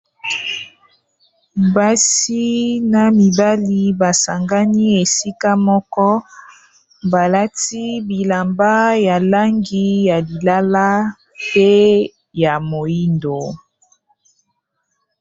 Basi na mibali ba sangani esika moko balati bilamba ya langi ya lilala pe ya moyindo.